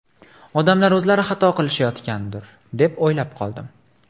Odamlar o‘zlari xato qilishayotgandir, deb o‘ylab qoldim!